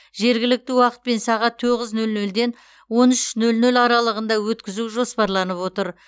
жергілікті уақытпен сағат тоғыз нөл нөлден он үш нөл нөл аралығында өткізу жоспарланып отыр